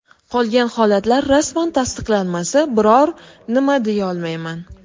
Qolgan holatlar rasman tasdiqlanmasa, biror nima deyolmayman.